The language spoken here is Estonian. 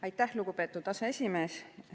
Aitäh, lugupeetud aseesimees!